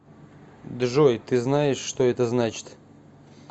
джой ты знаешь что это значит